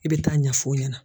I bɛ taa ɲɛfɔ o ɲɛna.